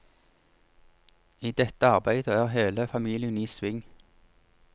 I dette arbeidet er hele familien i sving.